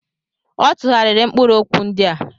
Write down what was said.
Ọ tụgharịrị mkpụrụ okwu ndị a.